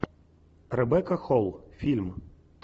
ребекка холл фильм